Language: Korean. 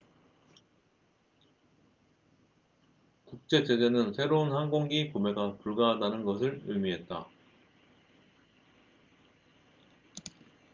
국제 제재는 새로운 항공기 구매가 불가하다는 것을 의미했다